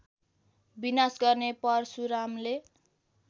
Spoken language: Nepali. विनाश गर्ने परशुरामले